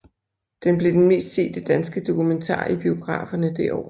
Den blev den mest sete danske dokumentar i biograferne det år